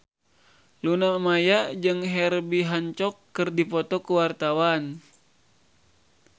Luna Maya jeung Herbie Hancock keur dipoto ku wartawan